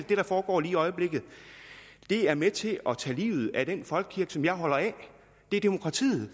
det der foregår lige i øjeblikket er med til at tage livet af den folkekirke som jeg holder af det er demokratiet